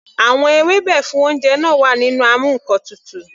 Àwọn ewébẹ̀ fún oúnjẹ náà wà nínú amú ǹkan tutù.